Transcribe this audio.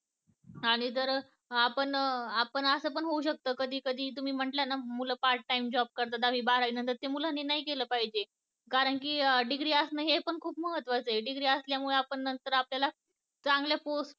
आणि जर आपण असं पण होऊ शकत कधी कधी मुलं part time job करतात. बारावी नंतर शेवटपर्यंत केलं पाहिजे कारण की degree असून हे पण खूप महत्वाचं आहे degree असल्यामुळे नंतर आपल्याला चांगल्या post